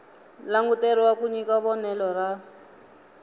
languteriwa ku nyika vonelo ra